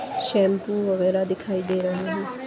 Shampoo वगैरह दिखाई दे रहा हैं।